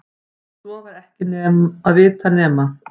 Svo var ekki að vita nema